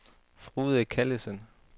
Frode Callesen